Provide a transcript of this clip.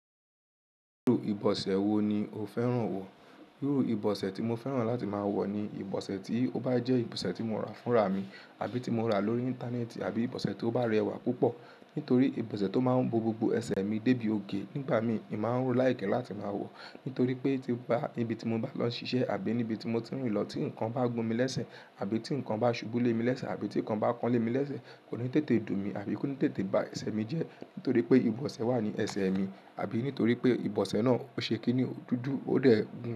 Irú ìbọ̀sẹ̀ wo ni o fẹ́ràn wọ̀? Irú ìbọ̀sẹ̀ tí mo fẹ́ràn láti máa wọ̀ ni ìbọ̀sẹ̀ tí ó bá jẹ́ ìbọ̀sẹ̀ tí mo rà fúnra mi àbí tí mo rà lórí ìntanẹ́ẹ̀tì àbí ìbọ̀sẹ̀ tó bá rẹwà púpọ̀. Nítorí ìbọ̀sẹ̀ tó máa ń bo gbogbo ẹsẹ̀ mi débi òkè nígbà mìí ní mò máa ń like láti máa wọ̀. Nítorí pé, níbi tí mo bá lọ ń ṣiṣẹ́ àbí níbi tí mo tí ń rìn lọ tí ǹkan bá gún mi léṣẹ̀ àbí tí ǹkan bá ṣubú lé mi léṣẹ̀ àbí tí ǹkan bá kan lé mi léṣẹ̀ kò ní tètè dùn mí àbí kò ní tètè ba ẹsẹ̀ mi jẹ́. Nítorí pé ìbọ̀sẹ̀ wà ní ẹsẹ̀ mi àbí nítorí pé ìbọ̀sẹ̀ náà o ṣe kínní? Ó dudu, o dé gun.